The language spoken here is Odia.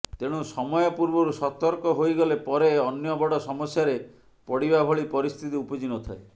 ତେଣୁ ସମୟ ପୂର୍ବରୁ ସତର୍କ ହୋଇଗଲେ ପରେ ଅନ୍ୟ ବଡ ସମସ୍ୟାରେ ପଡିବା ଭଳି ପରିସ୍ଥିତି ଉପୁଜି ନଥାଏ